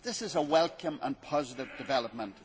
This is a welcome and positive development.